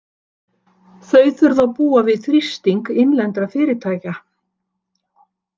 Þau þurfa að búa við þrýsting innlendra fyrirtæka.